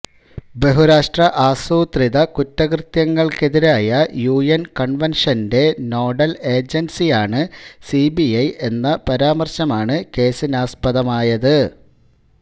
ബഹുരാഷ്ട്ര ആസൂത്രിത കുറ്റകൃത്യങ്ങള്ക്കെതിരായ യുഎന് കണ്വന്ഷന്റെ നോഡല് ഏജന്സിയാണ് സിബിഐ എന്ന പരാമര്ശമാണ് കേസിനാസ്പദമായത്